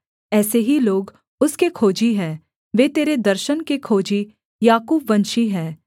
ऐसे ही लोग उसके खोजी है वे तेरे दर्शन के खोजी याकूबवंशी हैं सेला